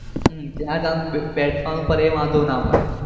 હમ ત્યાં જ આમ બેસવું નું પડે એ વાંધો ના પડે